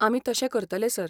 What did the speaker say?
आमी तशें करतले, सर.